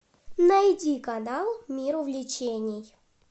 найди канал мир увлечений